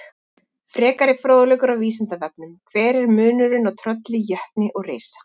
Frekari fróðleikur á Vísindavefnum: Hver er munurinn á trölli, jötni og risa?